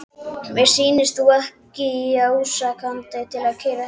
Mér sýnist þú ekki í ástandi til að keyra heim.